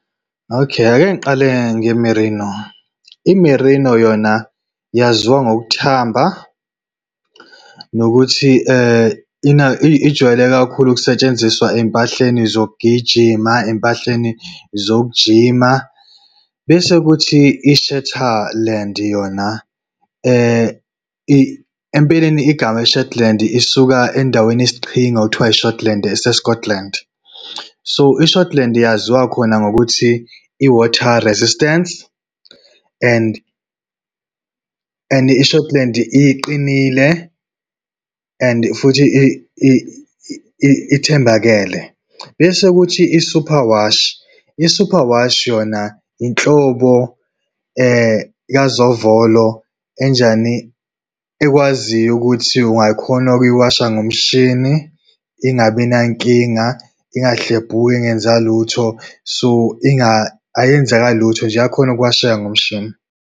Okay, ake ngiqale nge-merino. I-merino yona yaziwa ngokuthamba, nokuthi ijwayele kakhulu ukusetshenziswa ey'mpahleni zokugijima, ezimpahleni zokujima. Bese kuthi yona, empeleni igama i-shetland isuka endaweni isiqhingi okuthiwa, i-Shotland ese-Scotland. So, i-Shotland yaziwa khona ngokuthi, i-water resistance and and i-Shotland iqinile, and futhi ithembakele. Bese kuthi i-superwash, i-superwash, yona inhlobo zovolo enjani, ekwaziyo ukuthi ungakhona ukuyiwasha ngomshini, ingabi nankinga, ingahlebhuki, ingezwa lutho. So, ayenzakali lutho nje, iyakhona ukuwasheka ngomshini.